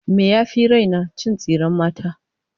Me ya fi raina? Cin tsiren mata.